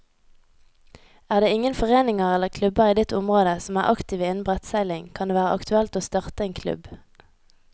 Er det ingen foreninger eller klubber i ditt område som er aktive innen brettseiling, kan det være aktuelt å starte en klubb.